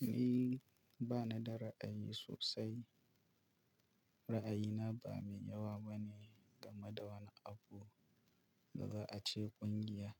Ni bana da ra'ayi sosai. Ra'ayina ba mai yawa ba ne game da wani abu da za a ce ƙungiya.